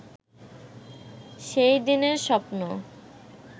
সেই দিনের স্বপ্ন